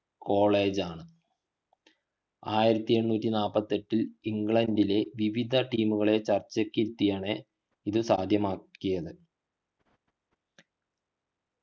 college ആണ് ആയിരത്തി എണ്ണൂറ്റി നാൽപത്തി എട്ടിൽ ഇന്ഗ്ലണ്ടിലെ വിവിധ team ചർച്ചയ്ക്കിരുത്തിയാണ് ഇതു സാധ്യമാക്കിയത്